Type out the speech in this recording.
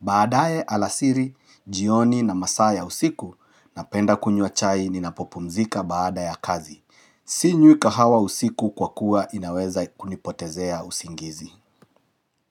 Baadae alasiri, jioni na masaa ya usiku, ninapenda kunywa chai ninapopumzika baada ya kazi. Sinywi kahawa usiku kwa kuwa inaweza kunipotezea usingizi.